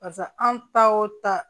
Barisa anw ta o ta